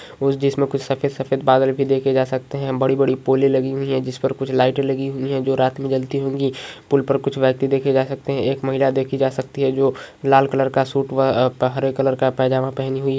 उस जिसमे कुछ सफेद-सफेद बादल भी देखे जा सकते है। बड़ी-बड़ी पोले लगी हुई है जिस पर कुछ लाइटे लगी हुई है जो रात मे जलती होगी । पूल पर कुछ व्यक्ति देखे जा सकते है । एक महिला देखी जा सकती है जो लाल कलर का सूट व हरे कलर का पैजामा पहनी हुई है ।